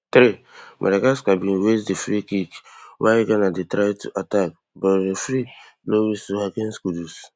threemadagascar bin waste di freekick wia ghana dey try to attack but referee blow whistle against kudus